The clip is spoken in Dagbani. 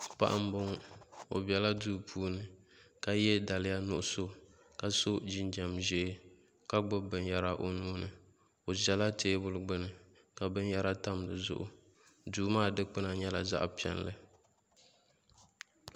Paɣa n boŋo o biɛla duu puuni ka yɛ daliya nuɣso ka so jinjɛm ʒiɛ ka gbubi binyɛra o nuuni o ʒɛla teebuli gbuni ka binyɛra tam di zuɣu duu maa dikpuna nyɛla zaɣ piɛlli